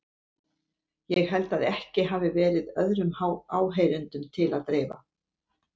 Ég held að ekki hafi verið öðrum áheyrendum til að dreifa.